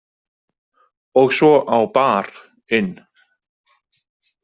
Og svo á Bar- inn.